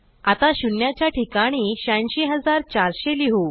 आता शून्याच्या ठिकाणी 86400 लिहू